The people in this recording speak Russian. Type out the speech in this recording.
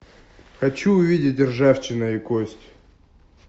хочу увидеть ржавчина и кость